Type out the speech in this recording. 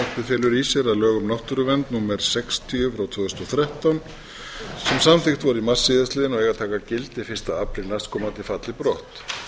að lög um náttúruvernd númer sextíu tvö þúsund og þrettán sem samþykkt voru í mars síðastliðnum og eiga að taka gildi fyrsta apríl næstkomandi falli brott